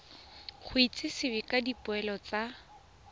go itsisiwe ka dipoelo tsa